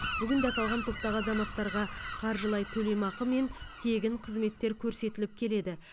бүгінде аталған топтағы азаматтарға қаржылай төлемақы мен тегін қызметтер көрсетіліп келеді